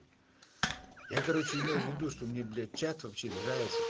я короче имел в виду что мне блять чат вообще нравится